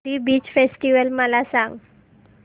पुरी beach festival मला सांग